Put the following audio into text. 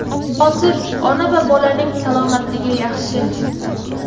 Hozir ona va bolaning salomatligi yaxshi.